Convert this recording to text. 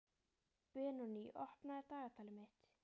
Benoný, opnaðu dagatalið mitt.